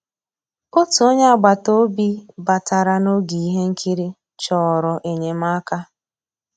Ótú ónyé àgbàtà òbí bàtarà n'ògé íhé nkírí, chọ̀rọ́ ényémàká.